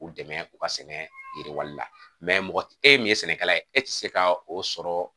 K'u dɛmɛ u ka sɛnɛ yiriwali la mɔgɔ e ye min ye sɛnɛkɛla ye e tɛ se ka o sɔrɔ